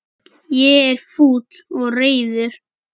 Ég er fúll og reiður.